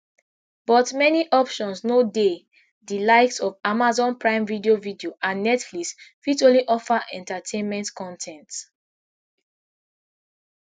but many options no dey di likes of amazon prime video video and netflix fit only offer entertainment con ten ts